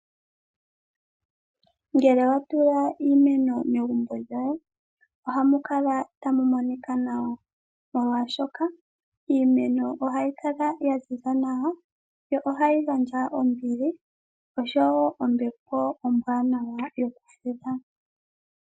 Ngele owa tula iimeno megumbo lyoye ohamu kala tamu monika nawa, molwaashoka iimeno ohayi kala ya ziza nawa, yo ohayi gandja ombili oshowo ombepo ombwaanawa yokufudha.